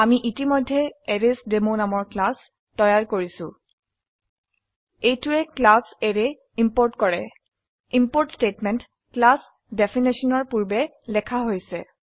আমি ইতিমধ্যে এৰেইচডেমো নামৰ ক্লাস তৈয়াৰ কৰিছো এইটোৱে ক্লাস অ্যাৰে ইম্পোৰ্ট কৰো ইম্পোৰ্ট স্টেটমেন্ট ক্লাস ডেফিনেশনৰ পূৰ্বে লেখা হৈছে